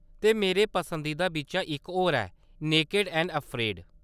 ते मेरे पसंदीदा बिच्चा इक होर ऐ नेकेड ऐंड अफ्रेड।